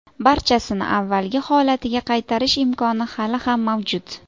Barchasini avvalgi holatiga qaytarish imkoni hali ham mavjud.